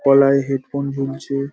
গলায় headphone ঝুলছে ।